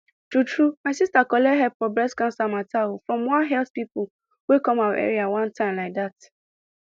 true true my sister collect help for breast sickness matter from one health pipo wey come our area one time like that